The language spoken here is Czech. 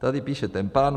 - Tady píše ten pán.